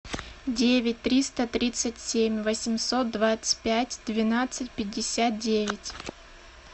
девять триста тридцать семь восемьсот двадцать пять двенадцать пятьдесят девять